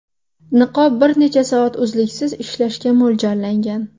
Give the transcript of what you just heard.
Niqob bir necha soat uzluksiz ishlashga mo‘ljallangan.